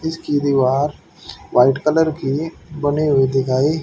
इसकी दीवार white colour की बनी हुई दिखाई--